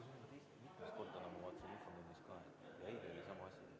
V a h e a e g